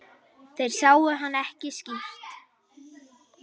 Þeir sáu hann ekki skýrt.